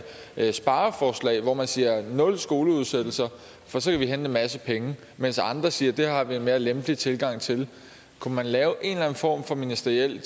spareforslag hvor man siger nul skoleudsættelser for så kan en masse penge mens andre siger det har vi en mere lempelig tilgang til kunne man lave en eller en form for ministeriel